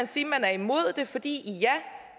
sige at man er imod det fordi